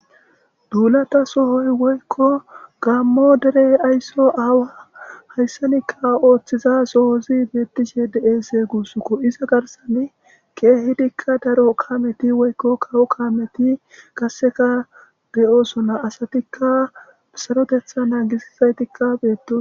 Duulata sohoy woykko gammo derey aysso aawa hayssanikka ooththiza sohozi beetishe deeese guussuko iza garsane keehidikka daro kaameti woykko kawo kaameti kasseka beyoosona asatikka sarotetha naagisisaytikka beeto